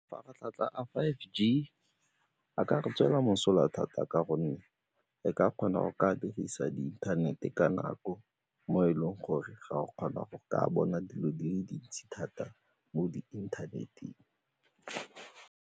Mafaratlhatlha a five G a ka re tswela mosola thata ka gonne e ka kgona go ka dirisa di inthanete ka nako mo e leng gore ga o kgona go ka bona dilo di le dintsi thata mo di inthaneteng.